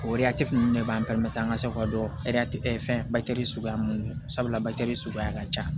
O ninnu de b'an an ka se ka dɔn fɛn suguya mun don sabula suguya ka ca